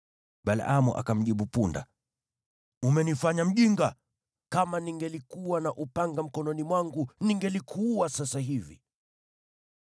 Balaamu akamjibu punda, “Umenifanya mjinga! Kama ningelikuwa na upanga mkononi mwangu, ningelikuua sasa hivi.”